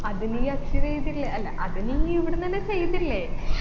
അത് നീ achieve എയ്തില്ലെ അല്ല അത് നീ ഇവിടുന്നെന്നെ ചെയ്തില്ലേ